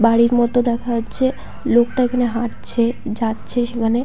বাড়ির মত দেখা যাচ্ছে। লোকটা ওখানে হাঁটছে। যাচ্ছে সেখানে।